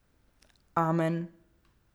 Amen.